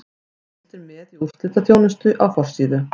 Fylgst er með í úrslitaþjónustu á forsíðu.